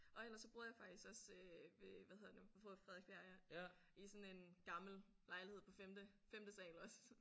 Og ellers så boede jeg faktisk også ved hvad hedder det nu på Frederiksbjerg ja. I sådan en gammel lejlighed på femte femte sal også